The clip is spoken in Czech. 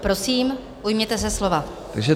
Prosím, ujměte se slova.